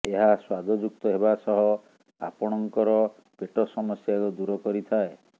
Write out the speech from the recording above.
ଏହା ସ୍ୱାଦଯୁକ୍ତ ହେବା ସହ ଆପଣଙ୍କର ପେଟ ସମସ୍ୟାକୁ ଦୂର କରିଥାଏ